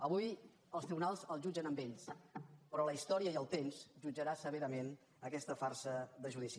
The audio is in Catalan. avui els tribunals els jutgen a ells però la història i el temps jutjaran severament aquesta farsa de judici